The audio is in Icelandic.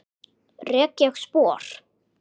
Rek ég spor.